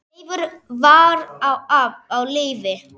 Leifur var á lífi.